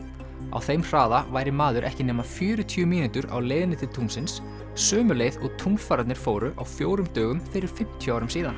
á þeim hraða væri maður ekki nema fjörutíu mínútur á leiðinni til tunglsins sömu leið og fóru á fjórum dögum fyrir fimmtíu árum síðan